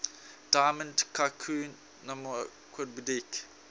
diamond tycoon nwabudike